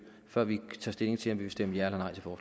før vi tager stilling til om vi vil stemme ja